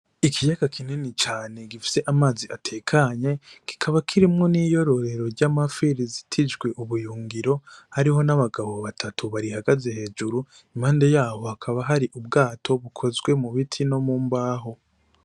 Ikiyaga kinini cane gifise amazi atekanye kikaba kirimwo n'iyororero ry'amafi rizitijwe ubuyungiro , hariho n'abagabo batatu barihagaze hejuru impande yaho hakaba hari ubwato bukozwe mu biti no mu mbaho.